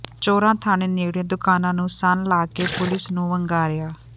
ਚੋਰਾਂ ਥਾਣੇ ਨੇੜਿਓਂ ਦੁਕਾਨਾਂ ਨੂੰ ਸੰਨ੍ਹ ਲਾ ਕੇ ਪੁਲਿਸ ਨੂੰ ਵੰਗਾਰਿਆ